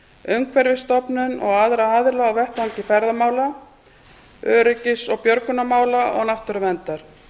umhverfisstofnun og aðra aðila á vettvangi ferðamála öryggis og björgunarmála og náttúruverndar